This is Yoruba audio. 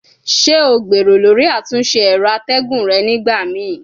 Ṣe o gbero lori atunse ęro ategun re nigbamii?